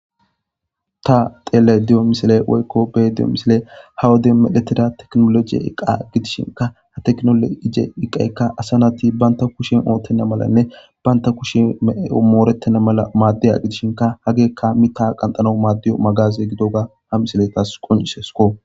Ta tele diyo misile woykko be diyo misile hawode midetira teknologiye iqa gidishinka ha teknolo ije iqaykka asanati banta kushin oottena malanne banta kushin omoorettena mala maaddiya gidishinka hagekka mi ta qanxano maaddiyo magaze gidoga ha misile taas qoncisesko.